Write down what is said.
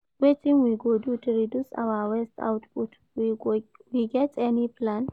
Wetin we go do to reduce our waste output, we get any plan?